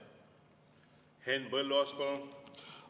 Henn Põlluaas, palun!